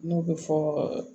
N'o bɛ fɔ